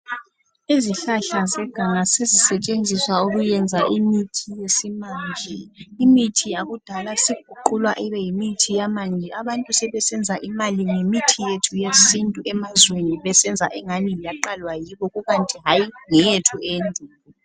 Izihlahla zeganga sezisetshenziswa ukuyenza imithi yesimanje imithi yakudala isiguqulwa ibeyimithi yamanje abantu sebesenza imali ngemithi yethu yesintu emazweni kungani yaqalwa yibo kukanti hayi ngeyethu eyendulo.